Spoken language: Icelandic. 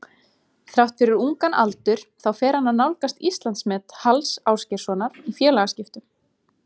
Þrátt fyrir ungan aldur þá fer hann að nálgast Íslandsmet Halls Ásgeirssonar í félagaskiptum.